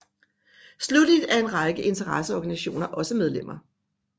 Slutteligt er en række interesseorganisationer også medlemmer